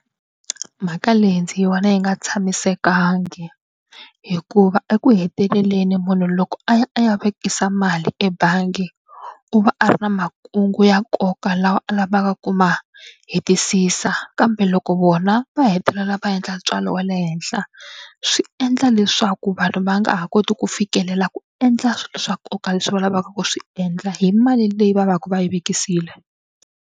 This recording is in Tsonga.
Mhaka leyi ndzi yi vona yi nga tshamisekanga hikuva eku heteleleni munhu loko a ya a ya vekisa mali ebangi u va a ri na makungu ya nkoka lawa a lavaka ku ma hetisisa kambe loko vona va hetelela va endla ntswalo wa le henhla swi endla leswaku vanhu va nga ha koti ku fikelela ku endla swilo swa nkoka leswi va lavaka ku swi endla hi mali leyi va va ka va yi vekisile.